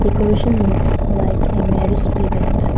Decoration looks like a marriage event.